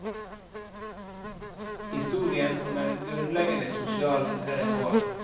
Historien om en grunnleggende sosial reform.